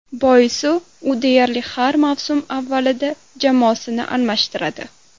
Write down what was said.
Boisi u deyarli har mavsum avvalida jamoasini almashtiradi.